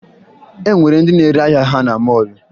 E nwere ndị na-ere ahịa ha na mọọlụ